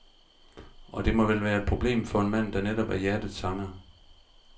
Og det må vel være et problem for en mand, der netop er hjertets sanger.